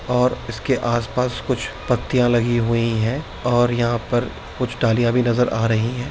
और इसके आस-पास कुछ पत्तियां लगी हुई हैं और यहाँ पर कुछ डालियाँ भी नजर आ रही हैं।